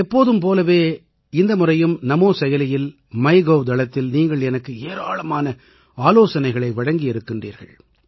எப்போதும் போலவே இந்த முறையும் நமோ செயலியில் மைகவ் தளத்தில் நீங்கள் எனக்கு ஏராளமான ஆலோசனைகளை வழங்கியிருக்கின்றீர்கள்